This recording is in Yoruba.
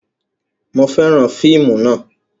Mo fẹ́ràn fíìmù náà